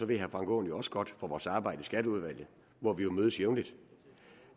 ved herre frank aaen jo også godt fra vores arbejde i skatteudvalget hvor vi mødes jævnligt